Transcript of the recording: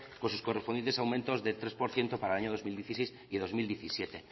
con sus correspondientes aumentos del tres por ciento para el año dos mil dieciséis y dos mil diecisiete